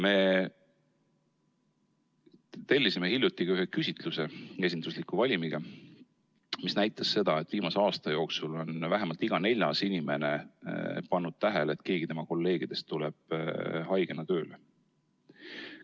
Me tellisime hiljuti ka ühe esindusliku valimiga küsitluse, mis näitas, et viimase aasta jooksul on vähemalt iga neljas inimene pannud tähele, et keegi tema kolleegidest tuleb haigena tööle.